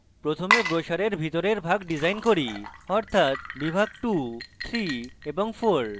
প্রথমে ব্রোসারের ভিতরের ভাগ ডিসাইন করি অর্থাৎ বিভাগ 23 এবং 4